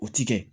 O ti kɛ